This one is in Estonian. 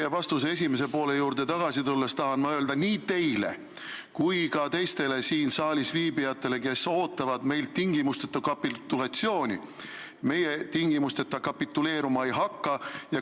Teie vastuse esimese poole juurde tagasi tulles tahan ma öelda nii teile kui ka teistele siin saalis viibijatele, kes ootavad meilt tingimusteta kapitulatsiooni: meie tingimusteta kapituleeruma ei hakka.